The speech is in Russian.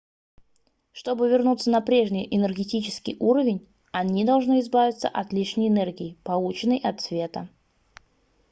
чтобы вернуться на прежний энергетический уровень они должны избавиться от лишней энергии полученной от света